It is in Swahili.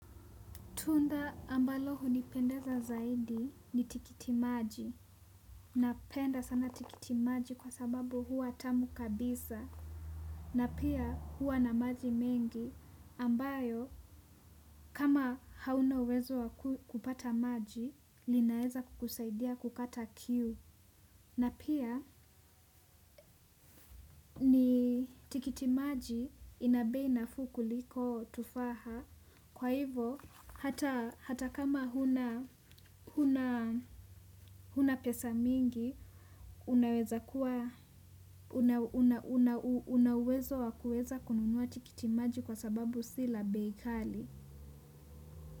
Tunda ambalo hunipendeza zaidi ni tikiti maji. Napenda sana tikiti maji kwa sababu huwa tamu kabisa. Na pia huwa na maji mengi ambayo kama hauna uwezo wa kupata maji linaeza kukusaidia kukata kiu. Na pia, tikiti maji ina bei nafuu kuliko tufaha. Kwa hivo hata kama huna huna pesa mingi, unaweza una uwezo wa kuweza kununua tikitimaji kwa sababu si la bei kali.